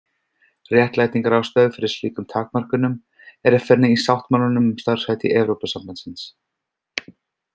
Réttlætingarástæður fyrir slíkum takmörkunum er að finna í sáttmálanum um starfshætti Evrópusambandsins.